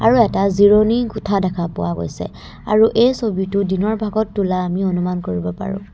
আৰু এটা জিৰণি কোঠা দেখা পোৱা গৈছে আৰু এই ছবিটো দিনৰ ভাগত তোলা আমি অনুমান কৰিব পাৰোঁ।